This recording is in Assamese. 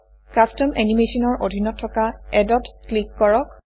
কাষ্টম এনিমেশ্যন ৰ অধীনত থকা এড ত ক্লিক কৰক